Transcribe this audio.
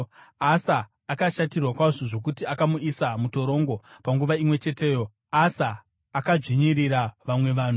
Asa akashatirwa kwazvo zvokuti akamuisa mutorongo. Panguva imwe cheteyo Asa akadzvinyirira vamwe vanhu.